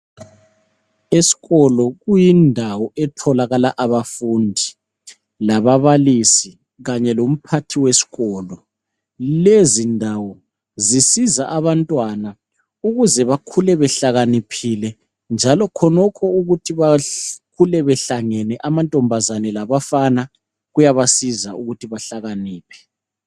Esikolo kuyindawo etholakala abafundi lababalisi kanye lomphathi wesikolo. Lezi ndawo zisiza abantwana ukuze bakhule behlakaniphile njalo khonokho ukuthi bakhule behlangene amantombazane labafana kuyabasiza ukuthi behlakaniphe.